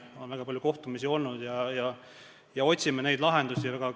On väga palju kohtumisi olnud ja me otsime lahendusi.